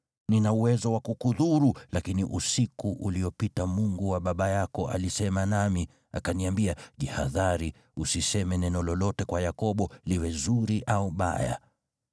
Nina uwezo wa kukudhuru, lakini usiku uliopita Mungu wa baba yako alisema nami, akaniambia, ‘Jihadhari, usiseme neno lolote kwa Yakobo liwe zuri au baya.’